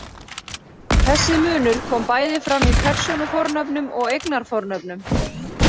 Þessi munur kom bæði fram í persónufornöfnum og eignarfornöfnum.